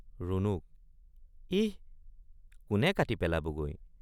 ৰুণুক—ইহ কোনে কাটি পেলাবগৈ।